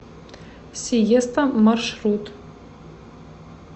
сиеста маршрут